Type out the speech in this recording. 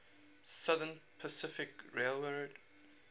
southern pacific railroad